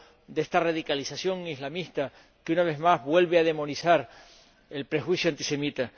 de esta radicalización islamista, que, una vez más, vuelve a demonizar el prejuicio antisemita.